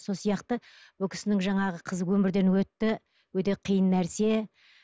сол сияқты бұл кісінің жаңағы қызы өмірден өтті өте қиын нәрсе